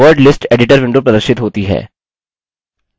word list editor window प्रदर्शित होती है